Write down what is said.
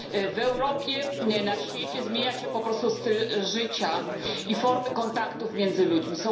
W Europie, na świecie zmienia się po prostu styl życia i formy kontaktów między ludźmi.